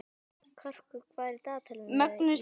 Karkur, hvað er í dagatalinu í dag?